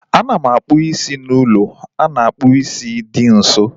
A na m akpụ isi m n'ụlọ a na-akpụ isi dị nso